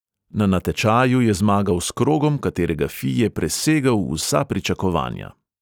Na natečaju je zmagal s krogom, katerega fi je presegel vsa pričakovanja.